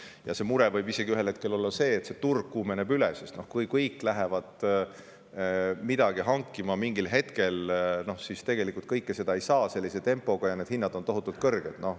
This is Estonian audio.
Ja mure võib isegi ühel hetkel olla see, et see turg kuumeneb üle, sest kui kõik lähevad midagi hankima mingil hetkel, siis tegelikult kõike seda ei saa sellise tempoga ja hinnad on tohutult kõrged.